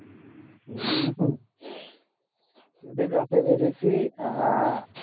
হম সেদিন রাতে বেরিয়েছিআহ